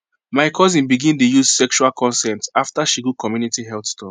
my cousin begin dey use sexual consent after she go community health talk